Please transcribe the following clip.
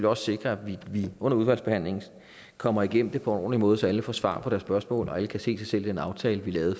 også sikre at vi under udvalgsbehandlingen kommer igennem det på en ordentlig måde så alle får svar på deres spørgsmål og alle kan se sig den aftale vi lavede